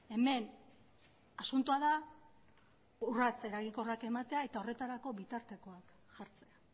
hemen asuntoa da urrats eraginkorrak ematea eta horretarako bitartekoak jartzea